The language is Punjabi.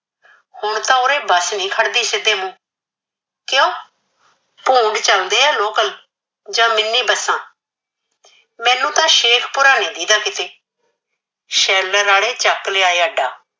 ਹੁਣ ਤਾ ਉਰੇ ਬਸ ਨੀ ਖੜਦੀ ਸਿੱਧੇ ਮੂੰਹ, ਕਿਓਂ? ਭੂੰਡ ਜਾਂਦੇ ਆ local ਜਾਂ mini ਬੱਸਾਂ। ਮੈਨੂੰ ਤਾਂ ਸ਼ੇਖੂਪੁਰ ਨੀ ਦੀਹਦਾ ਕਿਤੇ। sheller ਆਲੇ ਚੱਕ ਲਿਆਏ ਅੱਡਾ